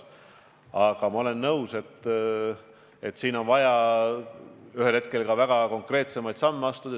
Aga ma olen nõus, et ühel hetkel on vaja väga konkreetseid samme astuda.